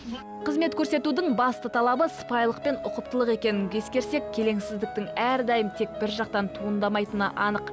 қызмет көрсетудің басты талабы сыпайылық пен ұқыптылық екенін ескерсек келеңсіздің әрдайым тек бір жақтан туындамайтыны анық